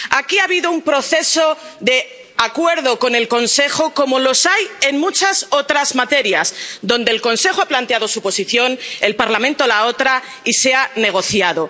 Aquí ha habido un proceso de acuerdo con el Consejo —como los hay en muchas otras materias— donde el Consejo ha planteado su posición, el Parlamento la otra, y se ha negociado.